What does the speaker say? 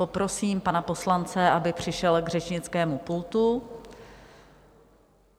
Poprosím pana poslance, aby přišel k řečnickému pultu.